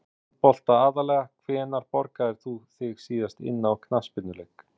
Handbolta aðallega Hvenær borgaðir þú þig síðast inn á knattspyrnuleik?